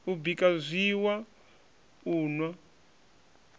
u bika zwiiwa u nwa